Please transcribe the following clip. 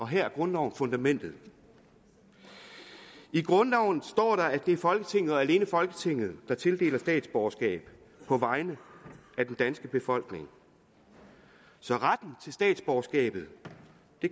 her er grundloven fundamentet i grundloven står at det er folketinget og alene folketinget der tildeler statsborgerskab på vegne af den danske befolkning så retten til statsborgerskab